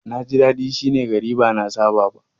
Na ji dadi shi ne gari ba na saba ba.